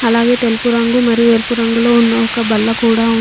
అలాగే తెలుపు రంగు మరియు ఎరుపు రంగులో ఉన్న ఒక బల్ల కూడా ఉంది.